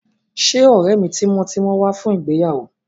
Ṣé ọ̀rẹ́ mi tímọ́tímọ́ wá fún ìgbéyàwó?